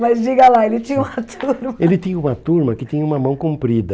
Mas diga lá, ele tinha uma turma... Ele tinha uma turma que tinha uma mão comprida.